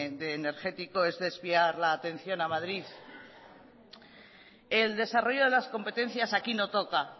energético es desviar la atención a madrid el desarrollo de las competencias aquí no toca